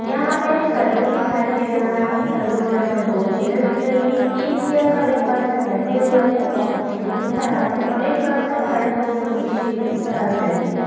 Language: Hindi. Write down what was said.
यहाँ हमें एक सलून दिखाई दे रहा है। सलून में हमें दो चेयर दिख रही हैं। एक चेयर पर एक पर्सन बैठे हुए हैं वह अपनी शेविंग करा रहे हैं और एक पर्सन खड़े होकर उनकी शेविंग कर रहे हैं।